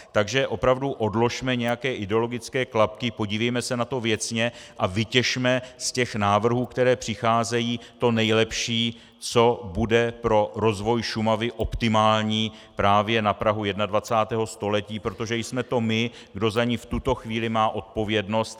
Takže opravdu odložme nějaké ideologické klapky, podívejme se na to věcně a vytěžme z těch návrhů, které přicházejí, to nejlepší, co bude pro rozvoj Šumavy optimální právě na prahu 21. století, protože jsme to my, kdo za ni v tuto chvíli má odpovědnost.